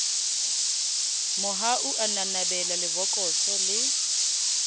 mohau a nanabela lebokoso le